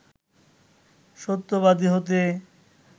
সত্যবাদী হতে